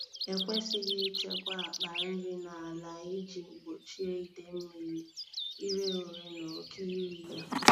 Ekwesịghị ịchekwa akpa nri n’ala iji gbochie ide mmiri, ire ure na oke iri ya.